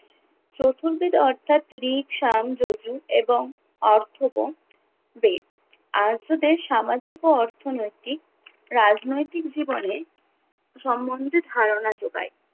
চতুর্বেদ অর্থাৎ ঋক, সাম, য়জুঃ এবং অর্থব বেদ, আর্যদের সামাজিক ও অর্থনৈতিক রাজনৈতিক জীবনে সম্বন্ধে ধারণা যোগায়।